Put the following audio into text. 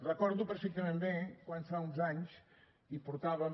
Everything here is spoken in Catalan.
recordo perfectament bé quan fa uns anys hi portàvem